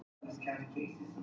spurði Vestmann í móti.